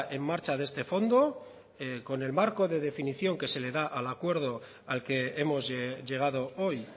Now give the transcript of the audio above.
en marcha de este fondo con el marco de definición que se le da al acuerdo al que hemos llegado hoy